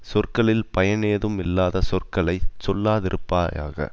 சொற்களில் பயனேதும் இல்லாத சொற்களை சொல்லாதிருப்பாயாக